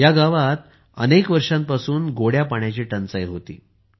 या गावात अनेक वर्षांपासून गोड्या पाण्याची टंचाई होती